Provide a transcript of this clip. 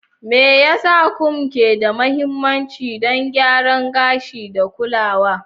Me yasa combs ke da mahimmanci don gyaran gashi da kulawa?